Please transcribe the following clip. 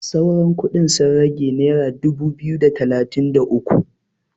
sauran kudin sun rage naira dubu biyu da talatin da uku